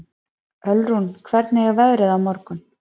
Ölrún, hvernig er veðrið á morgun?